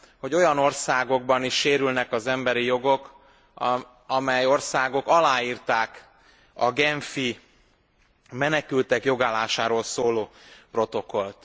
hogy olyan országokban is sérülnek az emberi jogok, amely országok aláírták a menekültek jogállásáról szóló genfi protokollt.